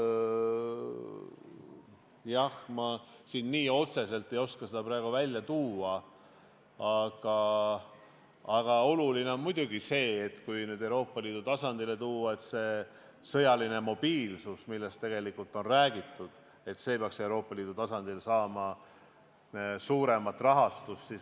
Jah, ma nii otseselt ei oska seda praegu välja tuua, aga oluline on muidugi see, et kui Euroopa Liidu tasandile tulla, siis see sõjaline mobiilsus, millest on räägitud, peaks Euroopa Liidu tasandil saama suuremat rahastust.